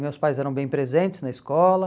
Meus pais eram bem presentes na escola.